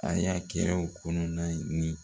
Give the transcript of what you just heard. A y'a kɛ u kɔnɔna ni